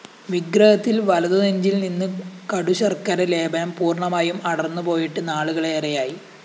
വിഗ്രഹത്തിലെ വലതുനെഞ്ചില്‍ നിന്ന് കടുശര്‍ക്കര ലേപനം പൂര്‍ണമായും അടര്‍ന്നുപോയിട്ട് നാളുകളേറെയായി